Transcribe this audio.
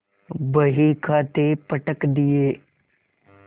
बहीखाते पटक दिये